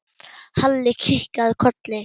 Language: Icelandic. Halli kinkaði kolli.